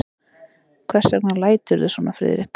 Hvers vegna læturðu svona, Friðrik?